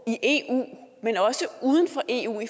i eu men også uden for eu